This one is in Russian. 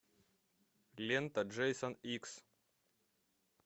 лента джейсон икс